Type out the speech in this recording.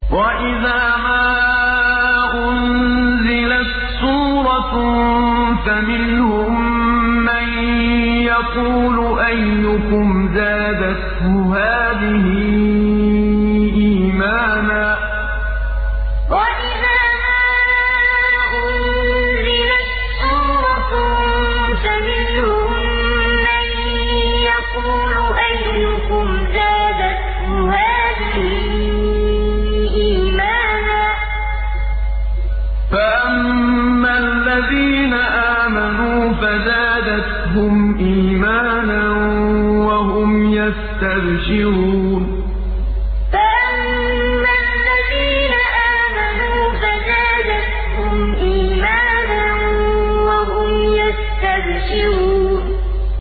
وَإِذَا مَا أُنزِلَتْ سُورَةٌ فَمِنْهُم مَّن يَقُولُ أَيُّكُمْ زَادَتْهُ هَٰذِهِ إِيمَانًا ۚ فَأَمَّا الَّذِينَ آمَنُوا فَزَادَتْهُمْ إِيمَانًا وَهُمْ يَسْتَبْشِرُونَ وَإِذَا مَا أُنزِلَتْ سُورَةٌ فَمِنْهُم مَّن يَقُولُ أَيُّكُمْ زَادَتْهُ هَٰذِهِ إِيمَانًا ۚ فَأَمَّا الَّذِينَ آمَنُوا فَزَادَتْهُمْ إِيمَانًا وَهُمْ يَسْتَبْشِرُونَ